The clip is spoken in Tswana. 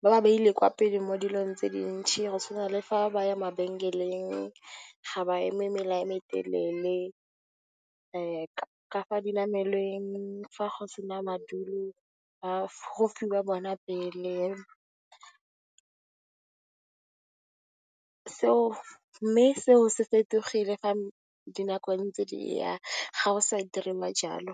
ba ba beile kwa pele mo dilong tse dintsi, go tshwana le fa ba ya mabenkeleng ga ba eme mela o motelele, ka fa dinamelweng fa go sena madulo, go fiwa bona pele. Mme, seo se fetogile fa dinako ntse di ya, ga go sa diriwa jalo.